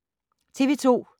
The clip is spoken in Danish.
TV 2